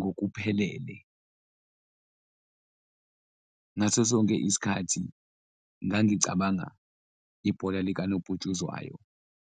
ngokuphelele ngaso sonke isikhathi ngangicabanga ibhola likanobhutshuzwayo.